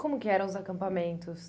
Como que eram os acampamentos?